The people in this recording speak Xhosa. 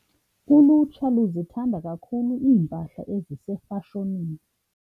Ulutsha luzithanda kakhulu iimpahla ezisefashonini.